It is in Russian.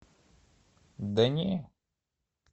да не